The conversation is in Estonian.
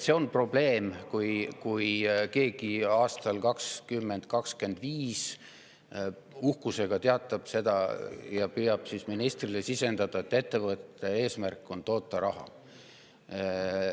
See on probleem, kui aastal 2025 teatab keegi uhkusega ja püüab seda ka ministrile sisendada, et ettevõtte eesmärk on toota raha.